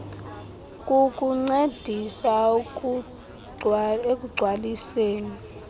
kukuncedisa ekugc waliseni